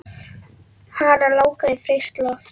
Hana langar í frískt loft.